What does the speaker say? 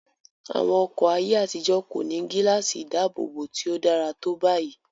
Àwọn ọkọ̀ ayé àtijó kò ní gíláàsì ìdáàbòbọ̀ tí ó dára tó báyìí.